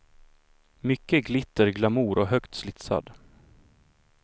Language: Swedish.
Mycket glitter, glamour och högt slitsad.